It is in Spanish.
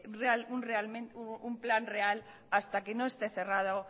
un plan real hasta que no esté cerrado